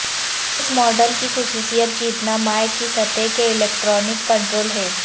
اس model کی خصوصیت جیتنا مائع کی سطح کے الیکٹرانک کنٹرول ہے